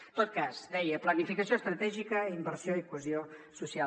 en tot cas deia planificació estratègica inversió i cohesió social